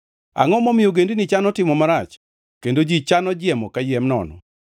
Angʼo momiyo ogendini chano timo marach kendo ji chano jiemo kayiem nono?